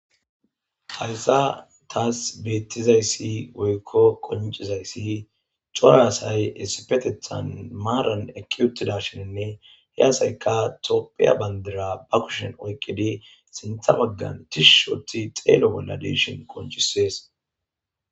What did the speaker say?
Hayssa taas beettizayssi woykko qoncizayssi coraasay essipetethan maaran ekki uttida shininne he asayka topphiya bandira ba kushen oykqidi sintha baggan tishi otidi xeelo bolla deeshin qonchisees.